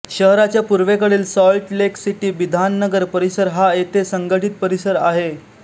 शहराच्या पूर्वपूर्वेकडील Salt Lake City Bidhannagar परिसर हा येथे संघटित परिसर आहे